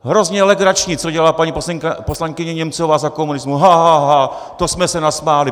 Hrozně legrační, co dělala paní poslankyně Němcová za komunismu: Ha, ha, ha, to jsme se nasmáli.